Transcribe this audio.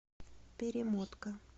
перемотка